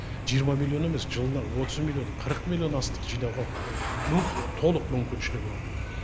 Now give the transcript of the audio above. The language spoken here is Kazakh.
жиырма миллион емес жылына отыз миллион қырық миллион астық жинауға толық мүмкіншілігі бар